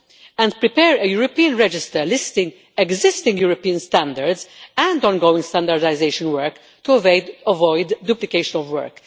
and prepare a European register listing existing European standards and ongoing standardisation work to avoid duplication of work.